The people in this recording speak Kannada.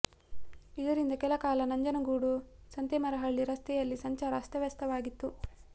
ಇದರಿಂದ ಕೆಲ ಕಾಲ ನಂಜನಗೂಡು ಸಂತೆಮರಹಳ್ಳಿ ರಸ್ತೆ ಯಲ್ಲಿ ಸಂಚಾರ ಅಸ್ತವ್ಯಸ್ತವಾಗಿತ್ತು